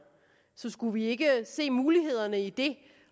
så skulle vi ikke se mulighederne i det